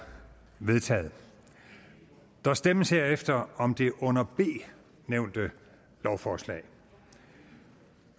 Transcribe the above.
vedtaget der stemmes herefter om det under b nævnte lovforslag